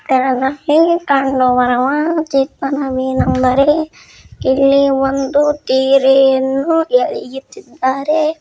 ಇಲ್ಲಿ ಒಂದು ತೆರನ್ನೂ ಎಳೆಯುತ್ತಿದ್ದಾರೆ.